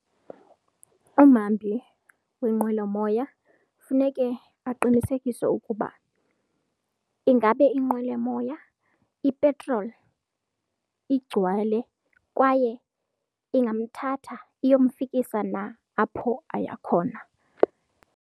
Umhambi wenqwelomoya funeke aqinisekise ukuba ingabe inqwelomoya ipetroli igcwele kwaye ingamthatha iyomfikisa na apho aya khona.